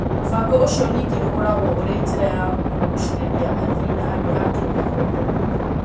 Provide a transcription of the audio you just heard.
Mũvango ũcio ningĩ ũkoragwo ũrĩ njĩra ya kũgucĩrĩria athii na andũ a Kenya othe.